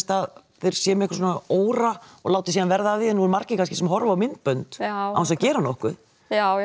þeir séu með svona óra og láti síðan verða af því nú eru margir kannski sem horfa á myndbönd án þess að gera nokkuð já